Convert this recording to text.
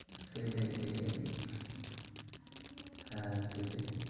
সেইটাই সেইটাই। হ্যাঁ সেইটাই।